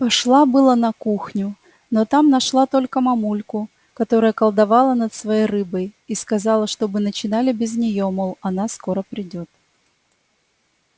пошла было на кухню но там нашла только мамульку которая колдовала над своей рыбой и сказала чтобы начинали без неё мол она скоро придёт